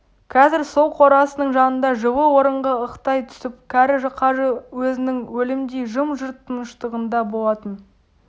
қазір сол қорасының жанында жылы орынға ықтай түсіп кәрі қажы өзінің өлімдей жым-жырт тыныштығында болатын